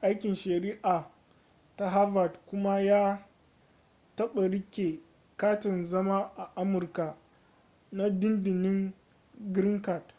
aikin shari'a ta harvard kuma ya taɓa riƙe katin zama a amurka na dindindin green card